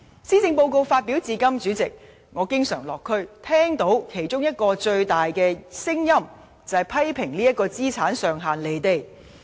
施政報告發表至今，主席，我落區經常聽到最大的聲音之一，就是批評這個資產上限與現實脫節。